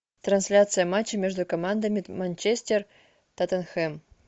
трансляция матча между командами манчестер тоттенхэм